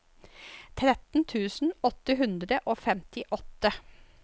tretten tusen åtte hundre og femtiåtte